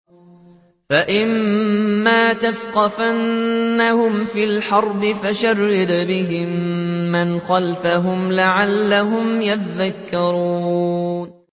فَإِمَّا تَثْقَفَنَّهُمْ فِي الْحَرْبِ فَشَرِّدْ بِهِم مَّنْ خَلْفَهُمْ لَعَلَّهُمْ يَذَّكَّرُونَ